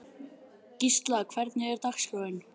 Gísla, hvernig er dagskráin?